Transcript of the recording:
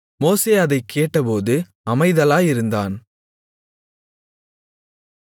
மோசே அதைக் கேட்டபோது அமைதலாயிருந்தான்